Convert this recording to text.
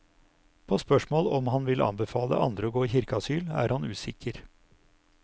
På spørsmål om han vil anbefale andre å gå i kirkeasyl er han usikker.